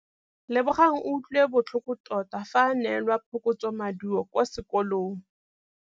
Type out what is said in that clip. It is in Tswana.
Lebogang o utlwile botlhoko tota fa a neelwa phokotsômaduô kwa sekolong.